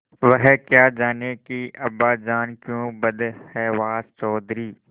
वह क्या जानें कि अब्बाजान क्यों बदहवास चौधरी